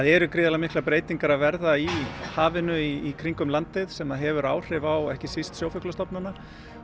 eru gríðarlega miklar breytingar að verða í hafinu í kringum landið sem hefur áhrif á ekki síst sjófuglastofnana